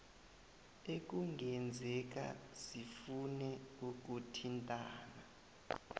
ekungenzeka sifune ukuthintana